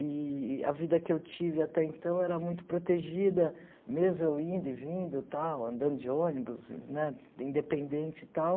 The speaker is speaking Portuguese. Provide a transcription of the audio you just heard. Eee a vida que eu tive até então era muito protegida, mesmo eu indo e vindo, tal, andando de ônibus, né independente e tal.